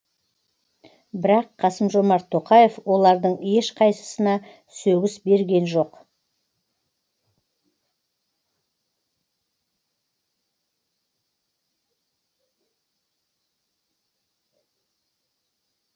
бірақ қасым жомарт тоқаев олардың ешқайсысына сөгіс берген жоқ